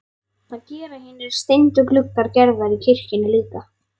Það gera hinir steindu gluggar Gerðar í kirkjunni líka.